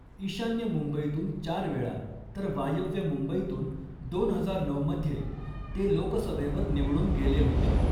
ईशान्य मुंबईतून चार वेळा तर वायव्य मुंबईतून दोन हजार नऊमध्ये ते लोकसभेवर निवडून गेले होते.